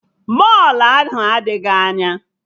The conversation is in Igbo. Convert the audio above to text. Mọlụ ahụ adịghị anya